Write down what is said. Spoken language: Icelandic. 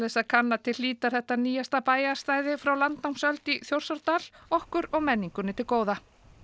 að kanna til hlítar þetta nýjasta bæjarstæði frá landnámsöld í Þjórsárdal okkur og menningunni til góða